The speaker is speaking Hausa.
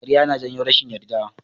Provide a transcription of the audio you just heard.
Ƙarya yana janyo rashin yarda.